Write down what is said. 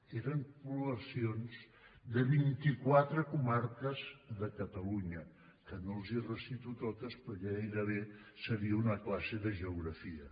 eren poblacions de vinti quatre comarques de catalunya que no les hi recito totes perquè gairebé seria una classe de geografia